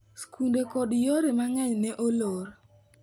Skunde koda yore mang'eny ne olor .